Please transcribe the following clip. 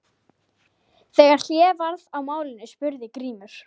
Þegar hlé varð á málinu spurði Grímur